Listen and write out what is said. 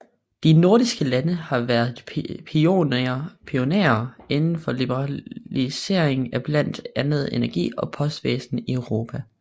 De nordiske lande har været pionerer inden for liberaliseringen af blandt andet energi og postvæsen i Europa